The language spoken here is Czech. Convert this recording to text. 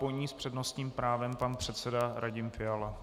Po ní s přednostním právem pan předseda Radim Fiala.